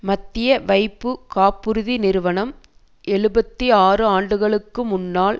மத்திய வைப்பு காப்புறுதி நிறுவனம் எழுபத்து ஆறு ஆண்டுகளுக்கு முன்னால்